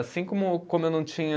Assim como, como eu não tinha